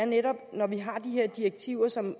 netop har de direktiver som